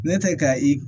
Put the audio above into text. Ne tɛ ka i